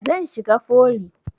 Zan shiga foli